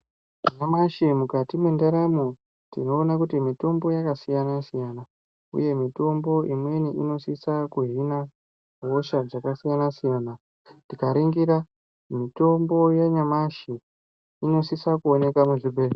Nyamashi mukati mwendaramo tinoona kuti mitombo yakasiyana siyana uye mitombo imweni inosisa kuhina hosha dzakasiyàna siyana tikaringira mutombo yanyamashi inosisa kuoneka muzvibhedhlera.